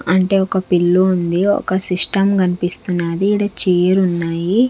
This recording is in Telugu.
అంటే ఒక పిల్లు ఉంది ఒక సిస్టం కనిపిస్తున్నది ఇలా చైర్ ఉన్నాయి .